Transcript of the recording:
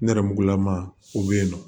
Nɛrɛmugulama o be yen nɔ